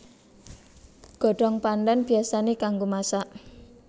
Godhong pandhan biyasané kanggo masak